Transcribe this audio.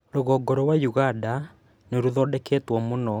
Rũgongo rwa Uganda nĩ rũthondeketwo muno